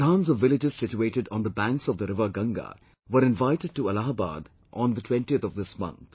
Pradhans of villages situated on the banks of the river Ganga were invited to Allahabad on the 20th of this month